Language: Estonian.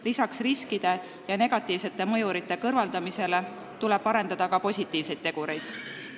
Lisaks riskide ja negatiivsete mõjurite kõrvaldamisele tuleb ka positiivseid tegureid arendada.